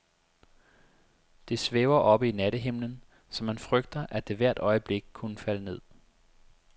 Det svæver oppe i nattehimlen, så man frygter, at det hvert øjeblik kunne falde ned.